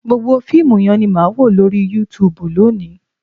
Gbogbo fíìmù yẹn ni màá wò lórí Youtube lónìí